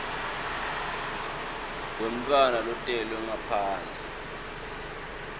wemntfwana lotelwe ngaphandle